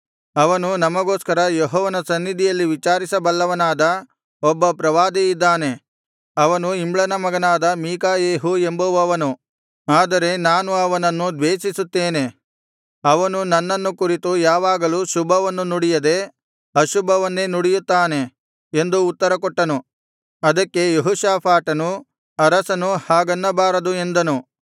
ಅವನು ನಮಗೋಸ್ಕರ ಯೆಹೋವನ ಸನ್ನಿಧಿಯಲ್ಲಿ ವಿಚಾರಿಸ ಬಲ್ಲವನಾದ ಒಬ್ಬ ಪ್ರವಾದಿ ಇದ್ದಾನೆ ಅವನು ಇಮ್ಲನ ಮಗನಾದ ಮೀಕಾಯೆಹು ಎಂಬುವವನು ಆದರೆ ನಾನು ಅವನನ್ನು ದ್ವೇಷಿಸುತ್ತೇನೆ ಅವನು ನನ್ನನ್ನು ಕುರಿತು ಯಾವಾಗಲೂ ಶುಭವನ್ನು ನುಡಿಯದೆ ಅಶುಭವನ್ನೇ ನುಡಿಯುತ್ತಾನೆ ಎಂದು ಉತ್ತರಕೊಟ್ಟನು ಅದಕ್ಕೆ ಯೆಹೋಷಾಫಾಟನು ಅರಸನು ಹಾಗನ್ನಬಾರದು ಎಂದನು